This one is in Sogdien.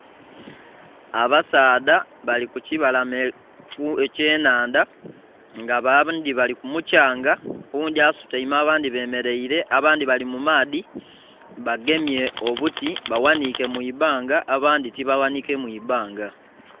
Abasaadha bali ku kibalama eky'enhandha nga abandhi bali ku mukyanga, oghundhi asutaime abandhi bemeleire. Abandhi bali mu maadhi bagemye obuti baghaniike mu ibanga, abandhi tibaghaniike mu ibanga.